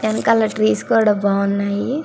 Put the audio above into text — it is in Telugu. వెనకాల ట్రీస్ కూడా బాగున్నాయి.